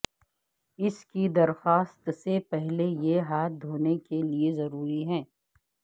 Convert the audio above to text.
اس کی درخواست سے پہلے یہ ہاتھ دھونے کے لئے ضروری ہے